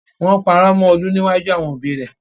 Wọ́n parọ́ mọ Olú níwájú àwọn òbíi rẹ.